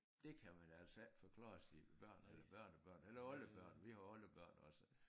Det kan man altså ikke forklare sine børn eller børnebørn eller oldebørn vi har oldebørn også